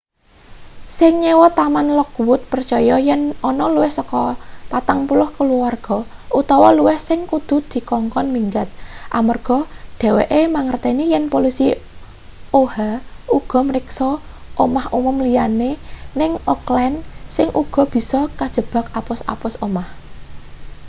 sing nyewa taman lockwood percaya yen ana luwih saka 40 kaluwarga utawa luwih sing kudu dikongkon minggat amarga dheweke mangerteni yen polisi oha uga mriksa omah umum liyane ning oakland sing uga bisa kajebak apus-apus omah